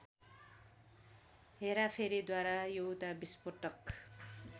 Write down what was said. हेराफेरीद्वारा एउटा विस्फोटक